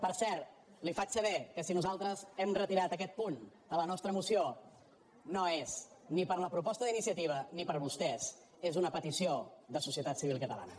per cert li faig saber que si nosaltres hem retirat aquest punt de la nostra moció no és ni per la proposta d’iniciativa ni per vostès és una petició de societat civil catalana